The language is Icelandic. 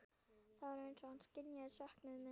Það var eins og hann skynjaði söknuð minn.